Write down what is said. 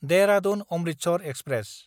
देहरादुन–अमृतसर express